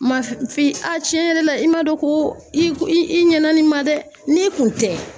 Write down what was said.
cɛn yɛrɛ la i man dɔn ko i i ɲɛna ni ma dɛ n'e kun tɛ